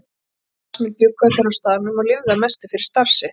Starfsmenn bjuggu allir á staðnum og lifðu að mestu fyrir starf sitt.